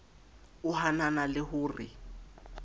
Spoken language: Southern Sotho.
o hanana le ho re